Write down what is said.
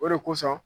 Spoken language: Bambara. O de kosɔn